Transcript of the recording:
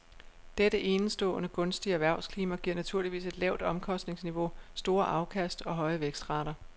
Dette enestående gunstige erhvervsklima giver naturligvis et lavt omkostningsniveau, store afkast og høje vækstrater.